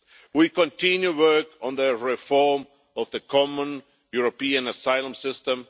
We continue to work on the reform of the common European asylum system.